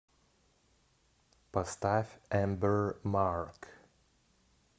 поставь эмбер марк